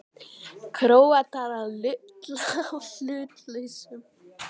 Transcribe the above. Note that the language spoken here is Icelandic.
Króatar að lulla í hlutlausum?